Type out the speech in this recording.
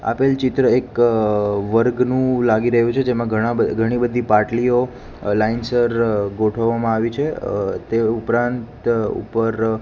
આપેલ ચિત્ર એક વર્ગનું લાગી રહ્યું છે જેમાં ઘણા બ ઘણી બધી પાટલીઓ લાઈનસર ગોઠવવામાં આવી છે અ તે ઉપરાંત ઉપર--